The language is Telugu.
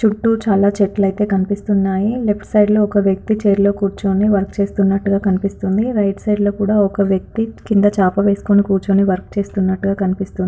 చుట్టూ చాలా చెట్లయితే కనిపిస్తున్నాయి లెఫ్ట్ సైడ్ లో ఒక వ్యక్తి చైర్ లో కూర్చొని వర్క్ చేస్తున్నట్టుగా కనిపిస్తూ ఉంది. రైట్ సైడ్ లో కూడా ఒక వ్యక్తి కింద చాప వేసుకుని వర్క్ చేస్తున్నట్టుగా కనిపిస్తూఉంది.